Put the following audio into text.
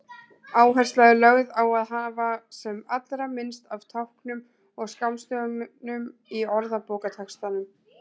Áhersla er lögð á að hafa sem allra minnst af táknum og skammstöfunum í orðabókartextanum.